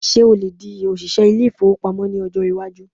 Ṣé o lè di òṣìṣẹ ilé-ìfowópamọ́ ní ọjọ́ iwájú?